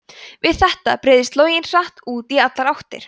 við þetta breiðist loginn hratt út í allar áttir